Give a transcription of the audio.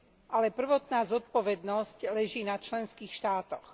Ale prvotná zodpovednosť leží na členských štátoch.